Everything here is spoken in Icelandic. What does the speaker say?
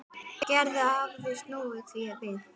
Gerður hafði snúið því við.